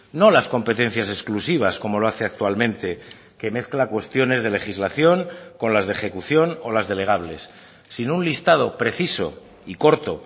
no las competencias exclusivas como lo hace actualmente que mezcla cuestiones de legislación con las de ejecución o las delegables sino un listado preciso y corto